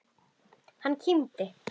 Hann kímdi.